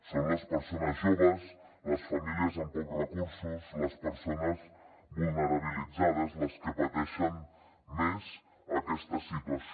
són les persones joves les famílies amb pocs recursos les persones vulnerabilitzades les que pateixen més aquesta situació